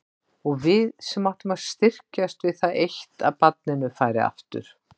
Og við sem áttum að styrkjast við það eitt að barninu færi aftur.